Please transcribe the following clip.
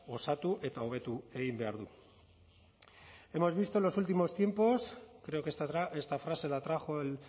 osatu eta hobetu egin behar du hemos visto en los últimos tiempos creo que esta frase la trajo el